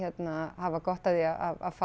hafa gott af því að fá